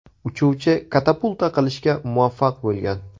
Uchuvchi katapulta qilishga muvaffaq bo‘lgan.